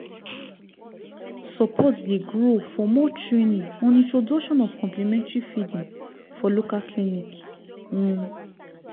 support dey grow for more training on introduction of complementary feeding for local clinic um